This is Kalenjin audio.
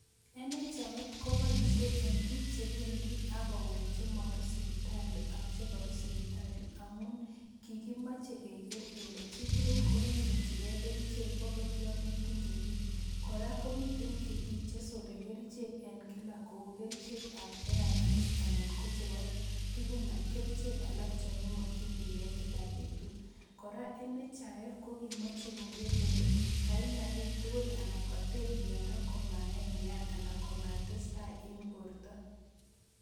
NHIF koboisie en biik chebendi agowek chemaru sibitali ak chekaru sibitali, amun kigimache keger kele chi tugul kokanyorchigei kerichek agot yo metinye kiy. Kora komiten pik cheroren kerichek en kila kou kerichekab ARVs anan ko chebo tugun kerichek alak chon imokchinigei kila betut. Kora NHIF ko kimache koger kole kainya biik tugul anan kater myondo kamaenean anan komatestai en borto.